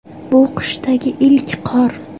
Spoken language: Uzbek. Bu qishdagi ilk qor.